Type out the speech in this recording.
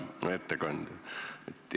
Hea ettekandja!